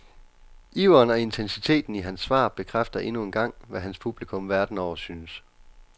Iveren og intensiteten i hans svar bekræfter endnu en gang, hvad hans publikum verden over synes.